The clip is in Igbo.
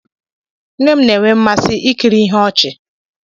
Nne m na-enwe mmasị ikiri ihe ọchị.